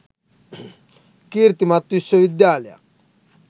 කීර්තිමත් විශ්ව විද්‍යාලයක්.